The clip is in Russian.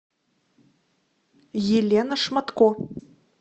елена шматко